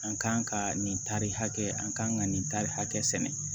An kan ka nin tari hakɛ an kan ka nin tari hakɛ sɛnɛ